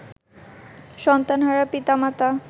সন্তানহারা পিতা-মাতা